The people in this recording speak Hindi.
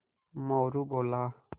मोरू बोला